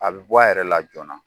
A bi bɔ a yɛrɛ la joona